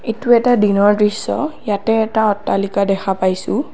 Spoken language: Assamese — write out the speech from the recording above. এইটো এটা দিনৰ দৃশ্য ইয়াতে এটা অট্টালিকা দেখা পাইছোঁ।